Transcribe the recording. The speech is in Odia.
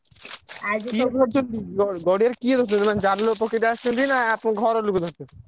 କିଏ ଧରୁଛନ୍ତି ଗ ଗଡିଆରେ କିଏ ଧରୁଛନ୍ତି ମାନେ ଜାଲ ପକେଇ ତେ ଆସିଛନ୍ତି ନା ଆପଣ ଘର ଲୋକ ଧରୁଛନ୍ତି?